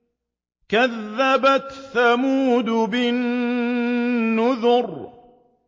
كَذَّبَتْ ثَمُودُ بِالنُّذُرِ